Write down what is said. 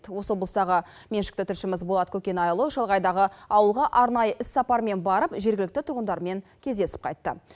осы облыстағы меншікті тілшіміз болат көкенайұлы шалғайдағы ауылға арнайы іс сапармен барып жергілікті тұрғындармен кездесіп қайтты